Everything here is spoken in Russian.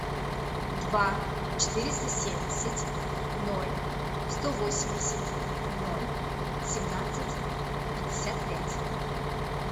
два четыреста семьдесят ноль сто восемьдесят ноль семнадцать пятьдесят пять